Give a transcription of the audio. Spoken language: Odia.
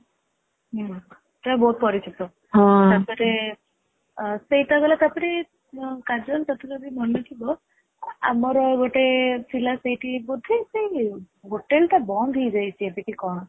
ହୁଁ ସେଟା ବହୁତ ପରିଚିତ ତାପରେ ସେଇଟା ଗଲା ତାପରେ କାଜଲ ତତେ ଯଦି ମନେଥିବ ଆମର ଗୋଟେ ଥିଲା ସେଇଠି ବୋଧେ ସେ hotel ଟା ବନ୍ଦ ହେଇଯାଇଚି ଏବେ କି କଣ